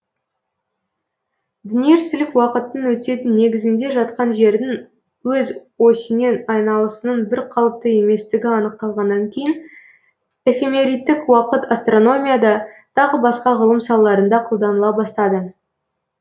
дүниежүзілік уақыттың өтетін негізінде жатқан жердің өз осінен айналысының бірқалыпты еместігі анықталғаннан кейін эфемеридтік уақыт астрономияда тағы басқа ғылым салаларында қолданыла бастады